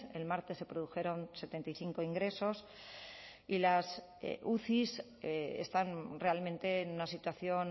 el martes se produjeron setenta y cinco ingresos y las uci están realmente en una situación